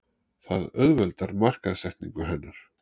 Það auðveldar markaðssetningu hennar.